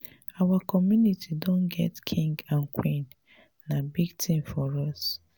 our community don get king and queen. na big thing for us.